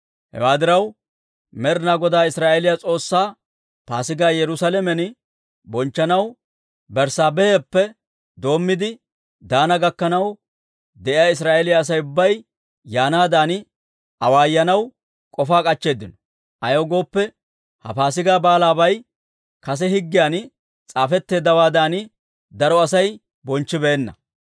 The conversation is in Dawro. Hewaa diraw, Med'inaa Godaa Israa'eeliyaa S'oossaa Paasigaa Yerusaalamen bonchchanaw Berssaabeheppe doommiide Daana gakkanaw de'iyaa Israa'eeliyaa Asay ubbay yaanaadan awaayanaw k'ofaa k'achcheeddino. Ayaw gooppe, ha Paasigaa Baalaabay kase higgiyan s'aafetteeddawaadan daro Asay bonchchibeenna.